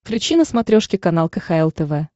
включи на смотрешке канал кхл тв